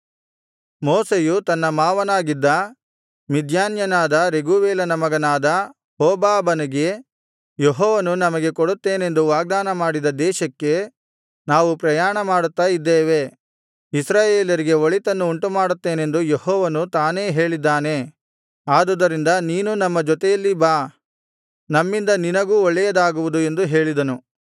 ಮೋಶೆಯು ತನ್ನ ಮಾವನಾಗಿದ್ದ ಮಿದ್ಯಾನ್ಯನಾದ ರೆಗೂವೇಲನ ಮಗನಾದ ಹೋಬಾಬನಿಗೆ ಯೆಹೋವನು ನಮಗೆ ಕೊಡುತ್ತೇನೆಂದು ವಾಗ್ದಾನ ಮಾಡಿದ ದೇಶಕ್ಕೆ ನಾವು ಪ್ರಯಾಣಮಾಡುತ್ತಾ ಇದ್ದೇವೆ ಇಸ್ರಾಯೇಲರಿಗೆ ಒಳಿತನ್ನು ಉಂಟುಮಾಡುತ್ತೇನೆಂದು ಯೆಹೋವನು ತಾನೇ ಹೇಳಿದ್ದಾನೆ ಆದುದರಿಂದ ನೀನೂ ನಮ್ಮ ಜೊತೆಯಲ್ಲಿ ಬಾ ನಮ್ಮಿಂದ ನಿನಗೂ ಒಳ್ಳೆಯದಾಗುವುದು ಎಂದು ಹೇಳಿದನು